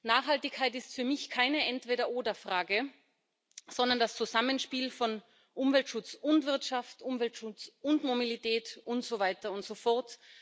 Nachhaltigkeit ist für mich keine Entweder oder Frage, sondern das Zusammenspiel von Umweltschutz und Wirtschaft, Umweltschutz und Mobilität und so weiter und so fort.